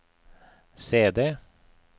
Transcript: CD